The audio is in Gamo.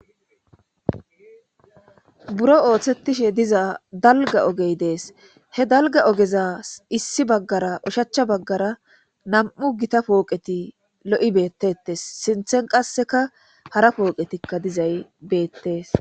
Buro ooththettishe diza dalga ogey dees. he dalga ogeza issi baggara ushachcha baggara nam"u gita pooqeti lo'i beettetes. sinthen qasseka hara pooqetikka dizay beettees.